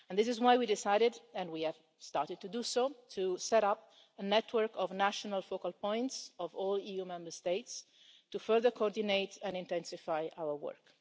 This is why we decided, and we have started to do so, to set up a network of national focal points of all EU Member States to further coordinate and intensify our work.